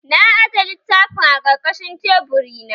Na aje littafin a ƙarƙashin teburi na